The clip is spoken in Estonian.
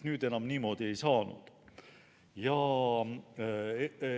Nüüd enam niimoodi ei saanud.